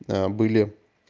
да были